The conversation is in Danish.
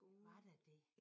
Var der det?